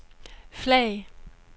flag